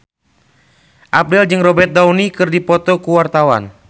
Abdel jeung Robert Downey keur dipoto ku wartawan